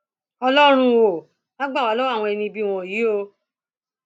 ọlọrun ò wáá gbà wá lọwọ àwọn ẹni ibi wọnyí o